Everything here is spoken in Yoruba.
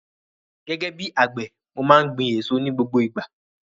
Gẹ́gẹ́ bíi àgbẹ̀, mo má n gbin èso ní gbogbo ìgbà